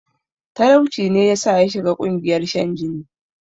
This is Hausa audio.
Talauci ne yasa yashiga ƙungiyar shan jini